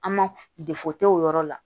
An ma o yɔrɔ la